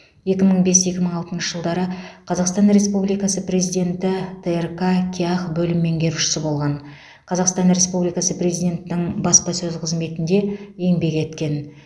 екі мың бес екі мың алтыншы жылдары қазақстан республикасы президенті трк кеақ бөлім меңгерушісі болған қазақстан республикасы президентінің баспасөз қызметінде еңбек еткен